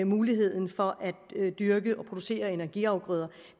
muligheden for at dyrke og producere energiafgrøder